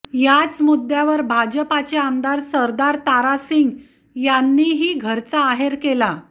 याच मुद्द्यावर भाजपाचे आमदार सरदार तारा सिंग यांनीही घरचा आहेर केला